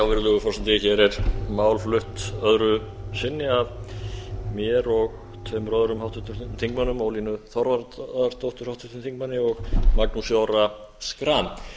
virðulegur forseti hér er mál flutt öðru sinni af mér og tveimur öðrum háttvirtum þingmönnum ólínu þorvarðardóttur háttvirtur þingmaður og magnúsi orra schram